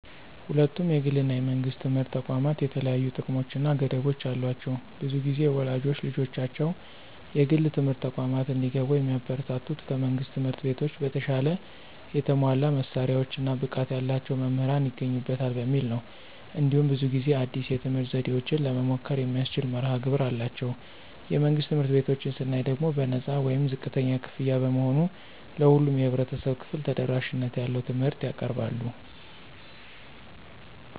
ሁለቱም የግል እና የመንግሥት ትምህርት ተቋማት የተለያዩ ጥቅሞች እና ገደቦች አሏቸው። ብዙ ጊዜ ወላጆች ልጆቻቸው የግል ትምህርት ተቋማት እንዲገቡ የሚያበረታቱት ከመንግሥት ትምህርት ቤቶች በተሻለ የተሟላ መሳሪያዎች እና ብቃት ያላቸው መምህራን ይገኙበታል በሚል ነው። እንዲሁም ብዙ ጊዜ አዲስ የትምህርት ዘዴዎችን ለመሞከር የሚያስችል መርሀ ግብር አላቸው። የመንግሥት ትምህርት ቤቶችን ስናይ ደግሞ በነፃ ወይም ዝቅተኛ ክፍያ በመሆኑ ለሁሉም የህብረተሰብ ክፍል ተደራሽነት ያለው ትምህርት ያቀርባሉ።